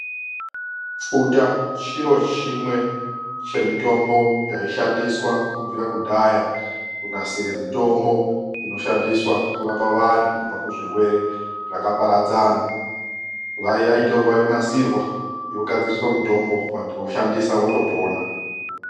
Pfuta chiro chimwe chemitombo yaishandiswa kubvira kudhaya kunasire mitombo inoshandiswa kurapa vantu kubva kuzvirwere zvakaparadzana. Yaitorwa yonasirwa yogadziriswa mitombo vantu voshandisa votopona.